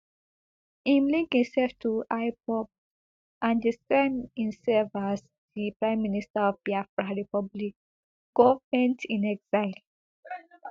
im link himself to ipob and describe himself as di prime minister of biafra republic governmentinexile